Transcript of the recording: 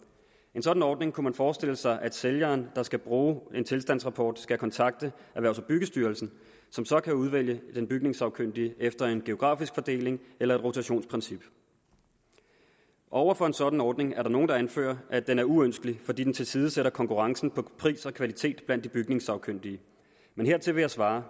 en sådan ordning kunne man forestille sig at sælgeren der skal bruge en tilstandsrapport skal kontakte erhvervs og byggestyrelsen som så kan udvælge den bygningssagkyndige efter en geografisk fordeling eller et rotationsprincip over for en sådan ordning er der nogle der anfører at den er uønsket fordi den tilsidesætter konkurrencen på pris og kvalitet blandt de bygningssagkyndige men hertil vil jeg svare